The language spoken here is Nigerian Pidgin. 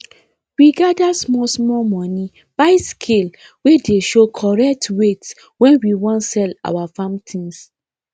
we gather small small money buy scale wey dey show correct weight when we wan sell our farm things